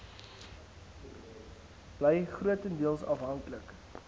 bly grotendeels afhanklik